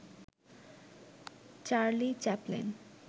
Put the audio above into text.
Charlie Chaplin